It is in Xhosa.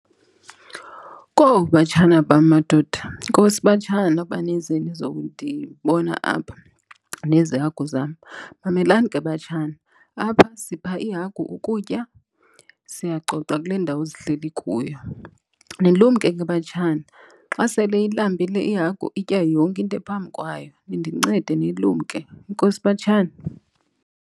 Kowu, batshana bam madoda. Enkosi, batshana uba nize nizokundibona apha nezi hagu zam. Mamelani ke, batshana, apha sipha iihagu ukutya, siyacoca kule ndawo zihleli kuyo. Nilumke ke, batshana, xa sele ilambile ihagu itya yonke into ephambi kwayo. Nindincede nilumke. Enkosi, batshana.